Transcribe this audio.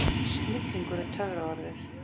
Snillingur er töfraorðið.